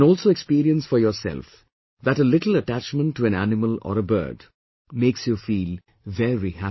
You can also experience for yourself that a little attachment to an animal or a bird makes you feel very happy